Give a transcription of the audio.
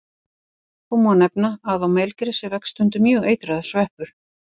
Þó má nefna að á melgresi vex stundum mjög eitraður sveppur.